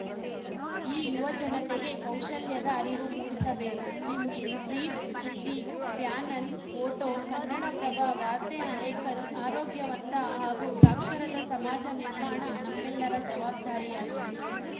ಈ ಯುವ ಜನತೆಗೆ ಕೌಶಲ್ಯದ ಅರಿವು ಮೂಡಿಸಬೇಕು ಜಿಮ್ಮಿ ಫ್ರಿಬ್ ಸುದ್ದಿ ಪ್ಯಾನಲ್‌ ಫೋಟೋ ಕನ್ನಡಪ್ರಭ ವಾರ್ತೆ ಆನೇಕಲ್‌ ಅರೋಗ್ಯವಂತ ಹಾಗೂ ಸಾಕ್ಷರತಾ ಸಮಾಜ ನಿರ್ಮಾಣ ನಮ್ಮೆಲ್ಲರ ಜವಾಬ್ದಾರಿಯಾಗಿದೆ